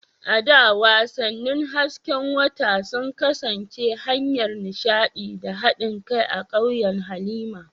A da, wasannin hasken wata sun kasance hanyar nishaɗi da haɗin kai a ƙauyen Halima.